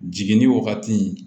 Jiginni wagati